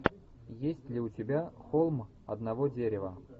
есть ли у тебя холм одного дерева